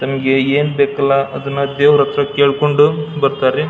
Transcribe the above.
ತಮ್ಮಗೆ ಏನ್ ಬೇಕಲ್ಲಾ ಅದನ್ನಾ ದೇವ್ರ ಹತ್ರ ಕೇಳಕೊಂಡು ಬರತ್ತರಿ.